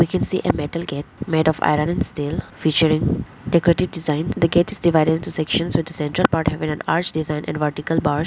we can see a metal gate made of iron and steel featuring decorated designs the gate is divided into sections with central part have an arch design and vartical bars.